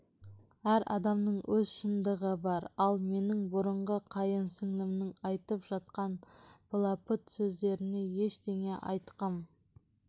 әр адамның өз шындығы бар ал менің бұрынғы қайын сіңілімнің айтып жатқан былапыт сөздеріне ештеңе айтқым